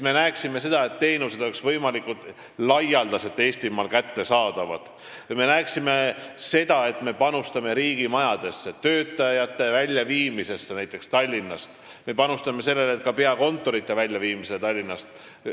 Me peame vaatama, et teenused oleksid Eestimaal võimalikult laialdaselt kättesaadavad, et me panustaksime riigimajadesse ja töötajate väljaviimisesse näiteks Tallinnast, ka peakontorite väljaviimisesse Tallinnast.